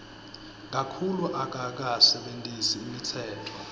kakhulu akakasebentisi imitsetfo